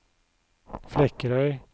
Flekkerøy